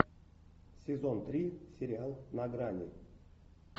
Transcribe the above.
сезон три сериал на грани